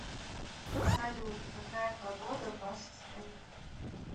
салют какая погода в вашей стране